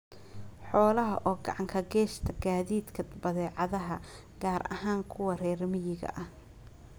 Xoolaha oo gacan ka geysta gaadiidka badeecadaha gaar ahaan kuwa reer miyiga ah.